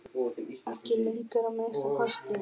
Ekki lengur, að minnsta kosti.